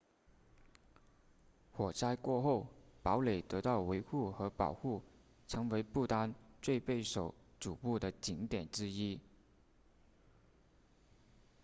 火灾过后堡垒得到维护和保护成为不丹最备受瞩目的景点之一